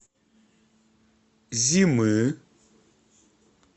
зимы